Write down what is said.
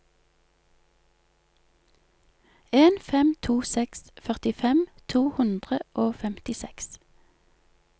en fem to seks førtifem to hundre og femtiseks